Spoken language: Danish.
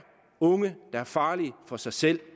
unge der er farlige for sig selv